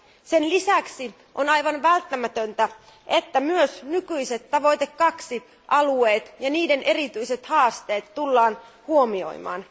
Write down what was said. Sen lisäksi on aivan välttämätöntä, että myös nykyiset tavoite 2 alueet ja niiden erityiset haasteet tullaan huomioimaan.